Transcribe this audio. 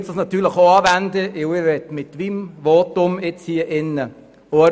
Ich wende diese jetzt hier auch an, da ich mit meinem Votum auch Erfolg haben möchte.